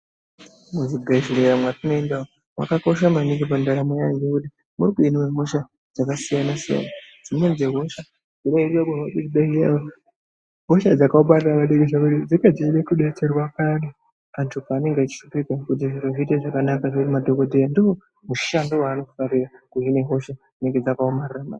Muzvibhedhlera mwatinoenda umwu mwakakosha maningi pandaramo yemhuri munohimwe hosha dzakasiyana-siyana. Dzimweni dzehosha dzinohinwe muzvibhedhlera umu, ihosha dzakaomarara ngekuti dzinenge dzeida kudetserwa ngemadhokodheya kuti zviite zvakanaka. Madhokodheya ndoomushando wavanofarira kuhine hosha dzinenge dzakaomarara.